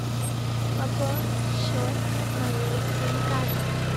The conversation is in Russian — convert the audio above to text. пополнить счет моей сим карты